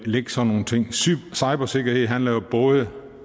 lægge sådan nogle ting cybersikkerhed handler jo både